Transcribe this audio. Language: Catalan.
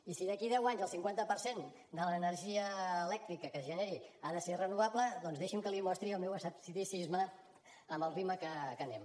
i si d’aquí a deu anys el cinquanta per cent de l’energia elèctrica que es generi ha de ser renovable doncs deixi’m que li mostri el meu escepticisme amb el ritme que anem